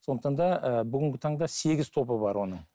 сондықтан да ы бүгінгі таңда сегіз тобы бар оның